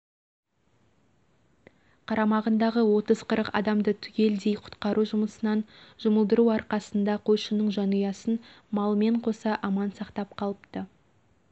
қарамағындағы отыз қырық адамды түгелдей құтқару жұмысына жұмылдыру арқасында қойшының жанұясын малымен қоса аман сақтап қалыпты